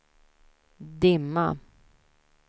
dimma